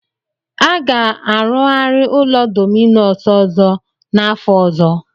A ga-arụgari ụlọ Dominus ọzọ n'afọ ọzọ.